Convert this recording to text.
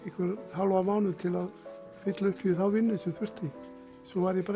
hálfan mánuð til að fylla upp í þá vinnu sem þurfti svo var ég bara